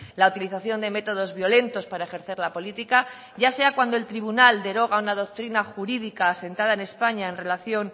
la utilización de métodos violentos para ejercer la política ya sea cuando el tribunal deroga una doctrina jurídica asentada en españa en relación